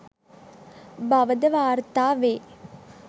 බවද වාර්ථා වෙයි.